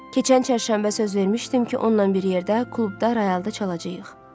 Keçən çərşənbə söz vermişdim ki, onunla bir yerdə klubda rayalda çalacağıq.